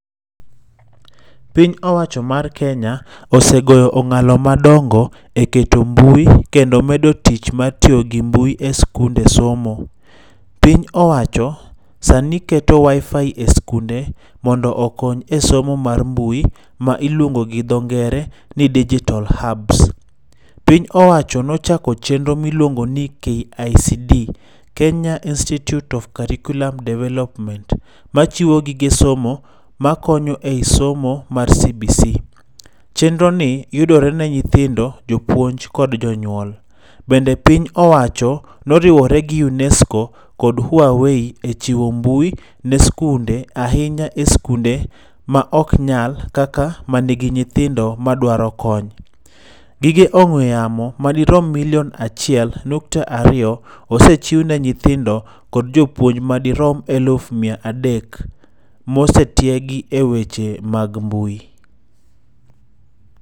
Piny owacho mar Kenya osegoyo ongalo madongo e keto mbui kendo medo tich mar tiyo gi mbui e skunde somo. Piny owacho sani keto Wifi e skunde mondo okony e somo mar mbui ma iluongo gi dho ngere ni digital hubs. Piny owacho ne ochako chenro miluongo ni KICD, Kenya institute of curriculum Development machiwo gige somo makonyo ei somo mar CBC. Chenro ni yudore ne nyithindo, jopuonj kod jonyuol. Bende piny owacho ne oriwore gi Unesco kod Huawei e chiwo mbui ne skunde ahinya e skunde maok nyal kaka manigi nyithindo madwaro kony. Gige ongwe yamo madirom milion 1.2 osechiw ne nyithindo kod jopuonj madirom 300,000 ma osetiegi e weche mag mbui